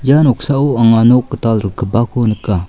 ia noksao anga nok gital rikgipako nika.